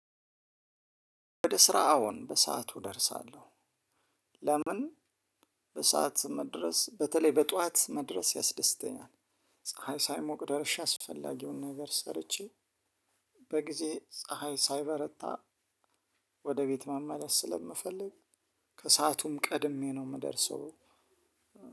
ወደ ስራ አዎን በሰአቱ እደርሳለሁ። ለምን? በሰአት መድረስ በተለይ በጧት መድረስ ያስደስተኛል። ፀሀይ ሳይሞቅ ደርሼ አስፈላጊውን ነገር ሰርቼ። በጊዜ ፀሀይ ሳይበረታ ወደ ቤት መመለስ ስለምፈልግ። ከሰአቱም ቀድሜ ነው የምደርሰው።